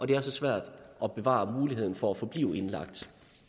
det er så svært at bevare muligheden for at forblive indlagt